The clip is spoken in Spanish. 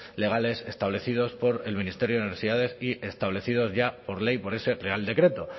legales establecidos por el ministerio de universidades y establecidos por ley por ese real decreto